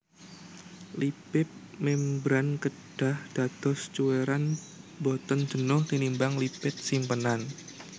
Lipip mémbran kedah dados cuwèran boten jenuh tinimbang lipid simpenan